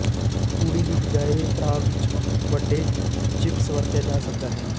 ਤੂੜੀ ਦੀ ਬਜਾਏ ਪਰਾਗ ਜ ਵੱਡੇ ਚਿਪਸ ਵਰਤਿਆ ਜਾ ਸਕਦਾ ਹੈ